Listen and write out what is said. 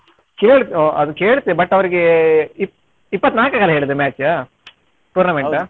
ಕೇಳ್~ ಆ ಅದ್ ಕೇಳ್ತೆ but ಅವರಿಗೆ ಇಪ್ಪ್~ ಇಪ್ಪತ್ನಾಲ್ಕಕ್ಕೆ ಅಲ್ಲ ಹೇಳಿದ್ದು match tournament .